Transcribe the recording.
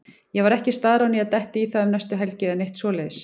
Ég var ekkert staðráðinn í að detta í það um næstu helgi eða neitt svoleiðis.